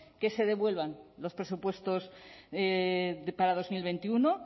que se devuelvan los presupuestos para dos mil veintiuno